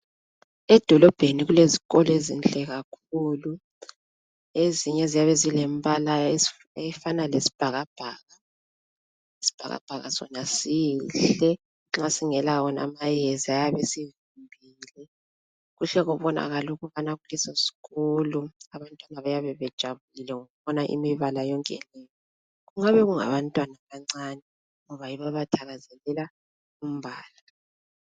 Edolobheni kulezikolo ezinhle kakhulu. Ezinye ziyabe zilembala efana lesibhakabhaka. Isibhakabhaka sona sihle nxa singela wona amayezi ayabe esivimbile. Kuhle kubonakale ukubana kulesosikolo abantwana bayabe bejabulile ngokubona imibala yonke le. Kungabe kungabantwana abancane ngoba yibo abathakazelela imibala.